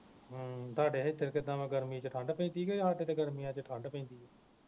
ਹਮ ਤੁਹਾਡੇ ਹਿਧਰ ਕਿੱਦਾਂ ਵਾ ਗਰਮੀ ਵਿਚ ਠੰਡ ਪੈਂਦੀ ਕਿ ਗਰਮੀਆਂ ਵਿਚ ਠੰਡ ਪੈਂਦੀ